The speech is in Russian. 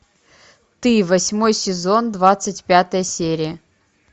ты восьмой сезон двадцать пятая серия